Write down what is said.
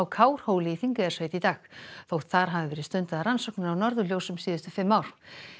Kárhóli í Þingeyjarsveit í dag þótt þar hafi verið stundaðar rannsóknir á norðurljósum síðustu fimm ár